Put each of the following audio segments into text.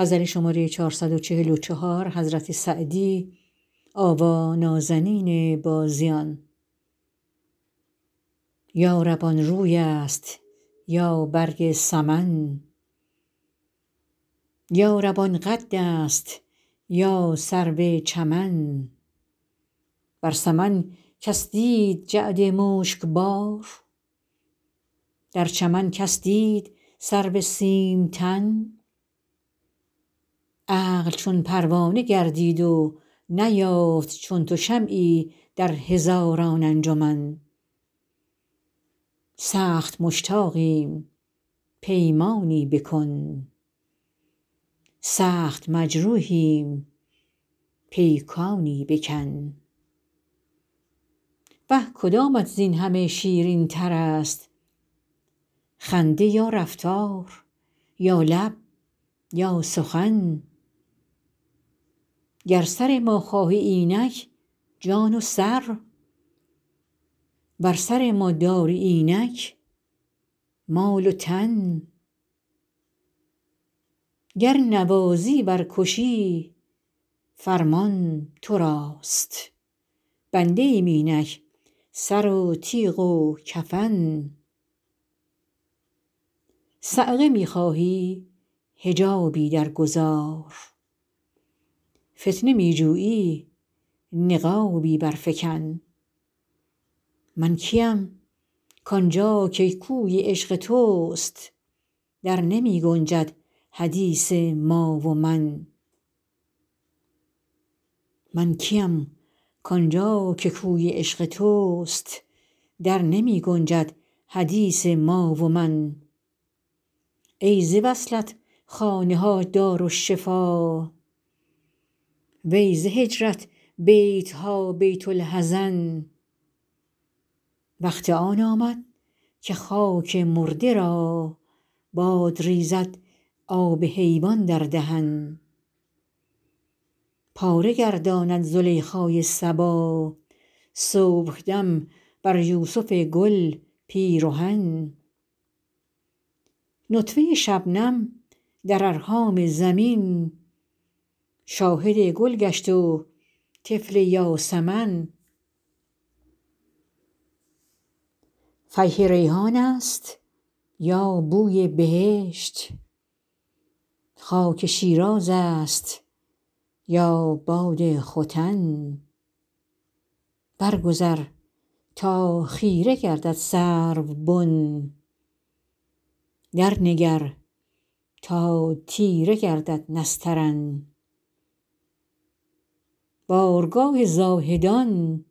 یا رب آن روی است یا برگ سمن یا رب آن قد است یا سرو چمن بر سمن کس دید جعد مشک بار در چمن کس دید سرو سیم تن عقل چون پروانه گردید و نیافت چون تو شمعی در هزاران انجمن سخت مشتاقیم پیمانی بکن سخت مجروحیم پیکانی بکن وه کدامت زین همه شیرین تر است خنده یا رفتار یا لب یا سخن گر سر ما خواهی اینک جان و سر ور سر ما داری اینک مال و تن گر نوازی ور کشی فرمان تو راست بنده ایم اینک سر و تیغ و کفن صعقه می خواهی حجابی در گذار فتنه می جویی نقابی بر فکن من کیم کآن جا که کوی عشق توست در نمی گنجد حدیث ما و من ای ز وصلت خانه ها دارالشفا وی ز هجرت بیت ها بیت الحزن وقت آن آمد که خاک مرده را باد ریزد آب حیوان در دهن پاره گرداند زلیخای صبا صبحدم بر یوسف گل پیرهن نطفه شبنم در ارحام زمین شاهد گل گشت و طفل یاسمن فیح ریحان است یا بوی بهشت خاک شیراز است یا باد ختن بر گذر تا خیره گردد سروبن در نگر تا تیره گردد نسترن بارگاه زاهدان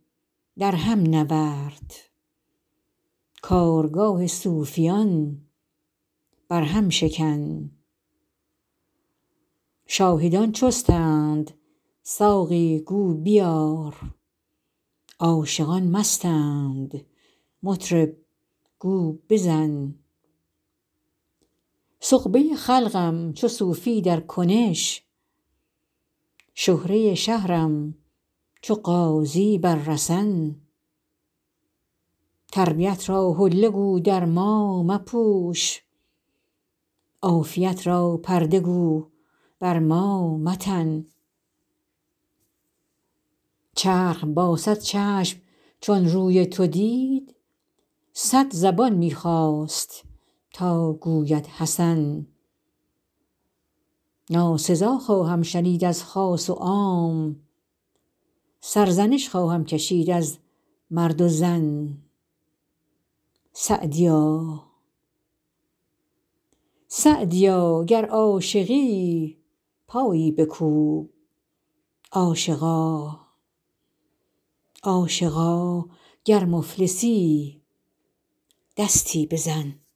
در هم نورد کارگاه صوفیان بر هم شکن شاهدان چستند ساقی گو بیار عاشقان مستند مطرب گو بزن سغبه خلقم چو صوفی در کنش شهره شهرم چو غازی بر رسن تربیت را حله گو در ما مپوش عافیت را پرده گو بر ما متن چرخ با صد چشم چون روی تو دید صد زبان می خواست تا گوید حسن ناسزا خواهم شنید از خاص و عام سرزنش خواهم کشید از مرد و زن سعدیا گر عاشقی پایی بکوب عاشقا گر مفلسی دستی بزن